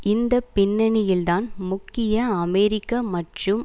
இந்த பின்னணியில்தான் முக்கிய அமெரிக்க மற்றும்